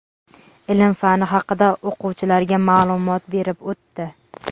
ilm – fani haqida o‘quvchilarga ma’lumot berib o‘tdi.